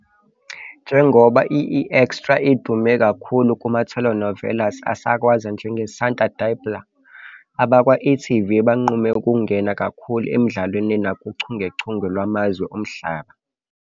Njengoba i-eExtra idume kakhulu kuma-telenovelas asakazwayo anjengeSanta Diabla, abakwa-e.tv banqume ukungena kakhulu emidlalweni nakuchungechunge lwamazwe omhlaba.